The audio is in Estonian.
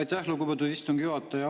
Aitäh, lugupeetud istungi juhataja!